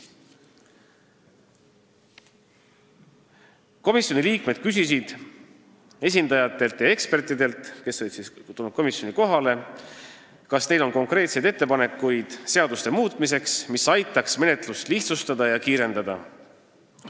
Komisjoni liikmed küsisid esindajatelt ja ekspertidelt, kes olid komisjoni kohale tulnud, kas neil on konkreetseid ettepanekuid seaduste muutmiseks, mis aitaks menetlust lihtsustada ja kiirendada.